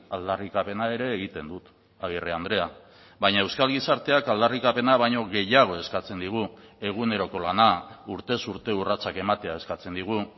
aldarrikapena ere egiten dut agirre andrea baina euskal gizarteak aldarrikapena baino gehiago eskatzen digu eguneroko lana urtez urte urratsak ematea eskatzen digu